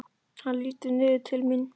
Hann lítur niður til mín.